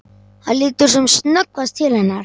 Hann lítur sem snöggvast til hennar.